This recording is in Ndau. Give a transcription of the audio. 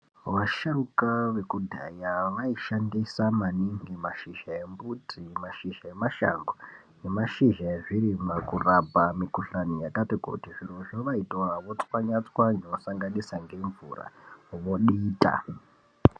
Vasharukwa vekudhaya vaishandisa maningi mashizha embuti mashizha emashango nemashizha ezvirimwa kurapa mukuhlani yakati kuti zbirozvo voitora vochwanya chwanya vosanganisa nemvura vodita.